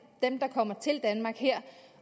der kommer til danmark her